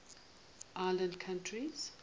island countries